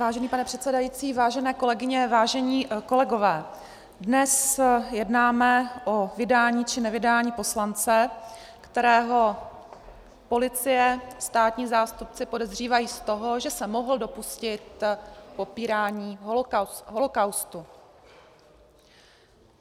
Vážený pane předsedající, vážené kolegyně, vážení kolegové, dnes jednáme o vydání či nevydání poslance, kterého policie, státní zástupci podezřívají z toho, že se mohl dopustit popírání holocaustu.